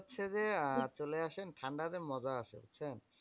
আপনি হচ্ছে যে, আহ চলে আসেন ঠান্ডা তে মজা আছে, বুঝছেন?